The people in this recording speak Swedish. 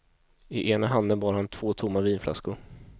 I ena handen bar han två tomma vinflaskor.